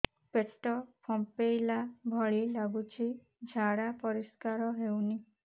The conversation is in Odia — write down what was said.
ପେଟ ଫମ୍ପେଇଲା ଭଳି ଲାଗୁଛି ଝାଡା ପରିସ୍କାର ହେଉନି